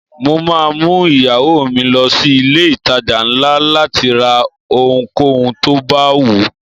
Mo máa mú ìyàwó mi lọ sí ilé ìtajà ńlá láti ra ohunkóhun tó bá wùú.